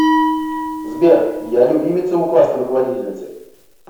сбер я любимица у классной руководительницы